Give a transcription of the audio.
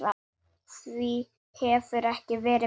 Því hefur ekki verið breytt.